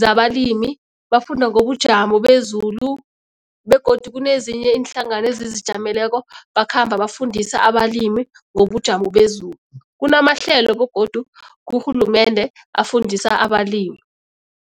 zabalimi, bafunda ngobujamo bezulu begodu kunezinye iinhlangano ezizijameleko bakhamba bafundisa abalimi ngobujamo bezulu, kunamahlelo begodu kurhulumende afundisa abalimi.